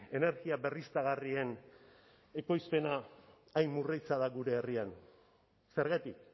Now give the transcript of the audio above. energia berriztagarrien ekoizpena hain murritza da gure herrian zergatik